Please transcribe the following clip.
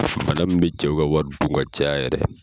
Bana mun be cɛw ka wari dun ka caya yɛrɛ